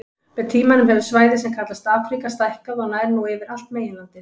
Með tímanum hefur svæðið sem kallast Afríka stækkað og nær nú yfir allt meginlandið.